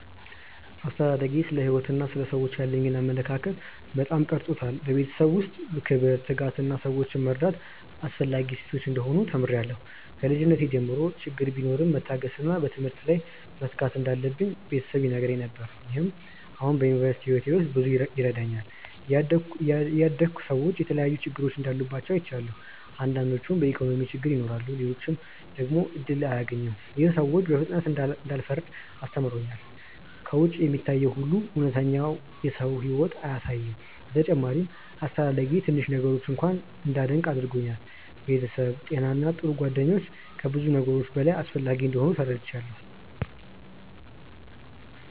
አስተዳደጌ ስለ ሕይወት እና ስለ ሰዎች ያለኝን አመለካከት በጣም ቀርጾታል። በቤተሰቤ ውስጥ ክብር፣ ትጋት እና ሰዎችን መርዳት አስፈላጊ እሴቶች እንደሆኑ ተምሬያለሁ። ከልጅነቴ ጀምሮ ችግር ቢኖርም መታገስ እና በትምህርት ላይ መትጋት እንዳለብኝ ቤተሰብ ይነግረኝ ነገር። ይህም አሁን በዩኒቨርሲቲ ሕይወቴ ውስጥ ብዙ ይረዳኛል። እያደግሁ ሰዎች የተለያዩ ችግሮች እንዳሉባቸው አይቻለሁ። አንዳንዶች በኢኮኖሚ ችግር ይኖራሉ፣ ሌሎች ደግሞ እድል አያገኙም። ይህ ሰዎችን በፍጥነት እንዳልፈርድ አስተምሮኛል። ከውጭ የሚታየው ሁሉ እውነተኛውን የሰው ሕይወት አያሳይም። በተጨማሪም አስተዳደጌ ትንሽ ነገሮችን እንኳ እንዳደንቅ አድርጎኛል። ቤተሰብ፣ ጤና እና ጥሩ ጓደኞች ከብዙ ነገሮች በላይ አስፈላጊ እንደሆኑ ተረድቻለሁ።